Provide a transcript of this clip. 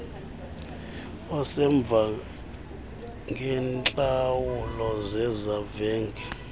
usemva ngeentlawulo zezavenge